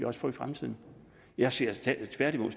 også få i fremtiden jeg ser det tværtimod